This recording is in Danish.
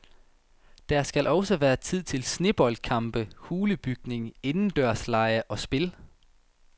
Der skal også være tid til sneboldkampe, hulebygning, indendørslege og spil.